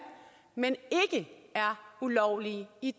men ikke er ulovlige i